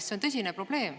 See on tõsine probleem.